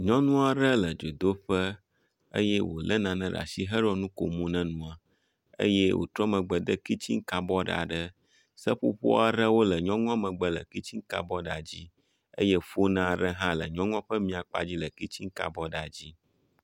Nyɔnu aɖe le dzodoƒe eye wòlé nane ɖe asi hele nu kom ne nua, eye wòtrɔ megbe de kitsin kabɔd aɖe. Seƒoƒo aɖewo le nyɔnua megbe le kitsin kabɔdia dzi eye fon aɖe hã le nyɔnua ƒe mia kpa dzi le kitsin kabɔdia dzi.